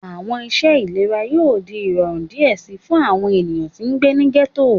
Awọn iṣẹ ilera yoo di irọrun diẹ sii fun awọn eniyan ti ngbe ni ghetto